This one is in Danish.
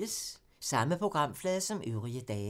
Samme programflade som øvrige dage